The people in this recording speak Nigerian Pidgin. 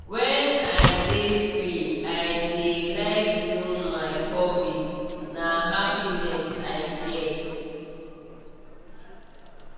when i dey free i dey like do my hobbies na happiness i get.